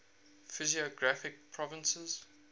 physiographic provinces